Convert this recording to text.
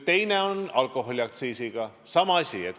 Teine asi on alkoholiaktsiis.